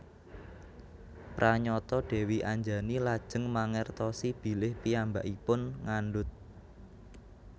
Pranyata Dèwi Anjani lajeng mangertosi bilih piyambakipun ngandhut